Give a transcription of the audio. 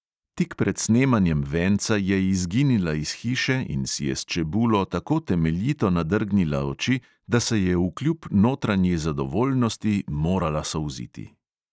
Tik pred snemanjem venca je izginila iz hiše in si je s čebulo tako temeljito nadrgnila oči, da se je vkljub notranji zadovoljnosti morala solziti.